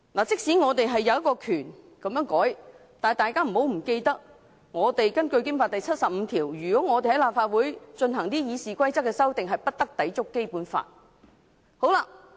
即使我們有權這樣修改，但請大家不要忘記，根據《基本法》第七十五條，我們對立法會《議事規則》所作的修訂，也不得抵觸《基本法》。